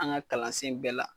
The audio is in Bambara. An ga kalansen bɛɛ la